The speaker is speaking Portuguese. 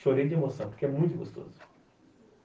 Chorei de emoção, porque é muito gostoso.